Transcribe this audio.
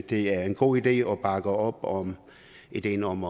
det er en god idé og vi bakker op om ideen om